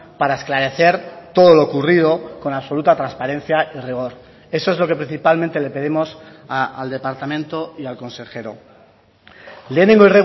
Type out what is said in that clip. para esclarecer todo lo ocurrido con absoluta transparencia y rigor eso es lo que principalmente le pedimos al departamento y al consejero lehenengo